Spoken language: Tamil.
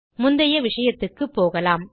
முந்தைய விஷயத்துக்குப்போகலாம்